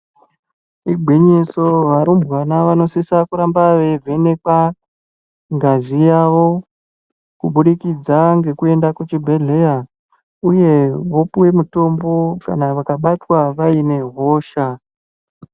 Igwinyiso varumbwana vanosisa kuramba veivhenekwa ngazi yavo kubudikidza ngekuenda kuchibhedhleya uye vopiwe mutombo kana vakabatwa vaine hosha.